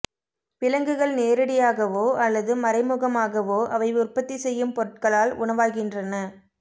விலங்குகள் நேரடியாகவோ அல்லது மறைமுகமாகவோ அவை உற்பத்தி செய்யும் பொருட்களால் உணவாகின்றன